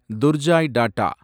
Durjoy tata